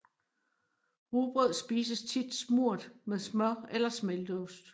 Rugbrød spises tit smurt med smør eller smelteost